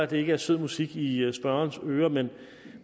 det ikke er sød musik i i spørgerens ører men